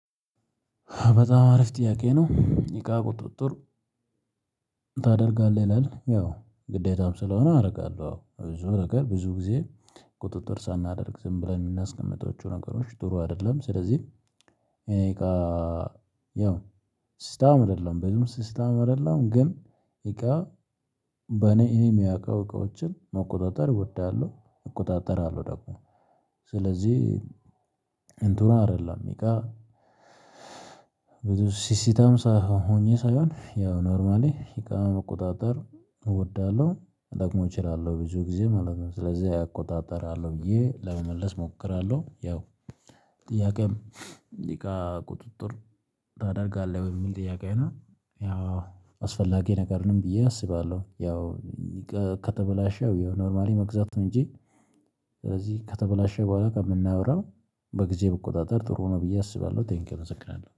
በጣም አሪፍ ጥያቄ ነው። እቃ ቁጥጥር ታደርጋለህ? ይላል ያው ግዴታም ስለሆነ አደርጋለሁ። አዎ! ብዙ ነገር ብዙ ጊዜ ቁጥጥር ሳናደርግ ዝም ብለን የምናስቀምጠው ነገሮች ጥሩ አይደለም። ስለዚህ እቃ ያው ስታም አይደለም። ብዙም ስስታም አይደለም። ግን እቃ በኔ ይሄን የሚያውቀው እቃዎችን መቆጣጠር እወዳለሁ። እቆጣጠራለሁ ደግሞ ስለዚህ ስለዚህ እንቱራ አይደለም ይቃ ሲሲታም ሳይሆ ሆኜ ሳይሆን ያው ኖርማሊ እቃ መቆጣጠር እወዳለሁ። እጠቅመው እችላለሁ። ብዙ ጊዜ ማለት ነው። ስለዚህ አያቆጣጠራለሁ ብዬ ለመመለስ እሞክራለሁ ያው ጥያቄም እቃ ቁጥጥር ታደርጋለህ ወይ? የሚል ጥያቄ ነው ያው አስፈላጊ ነገር ነው ብዬ አስባለሁ። ያው ከተበላሸው ኖርማሊ መግዛት እንጂ ስለዚህ ከተበላሸ በኋላ ከምናወራው በጊዜ በቁጥጥር ጥሩ ሆኖ ብዬ አስባለሁ። ቴንኪው እናመሰግናለን።